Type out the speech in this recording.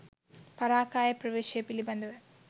පරකාය ප්‍රවේශය පිළිබඳවය